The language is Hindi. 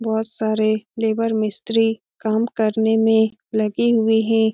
बहुत सारे लेबर मिस्त्री काम करने में लगे हुए हैं |